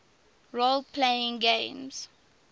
role playing games